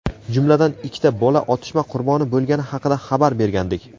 jumladan ikkita bola otishma qurboni bo‘lgani haqida xabar bergandik.